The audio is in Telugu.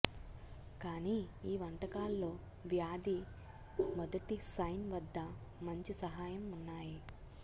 కానీ ఈ వంటకాల్లో వ్యాధి మొదటి సైన్ వద్ద మంచి సహాయం ఉన్నాయి